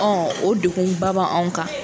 o dekunba ba anw kan.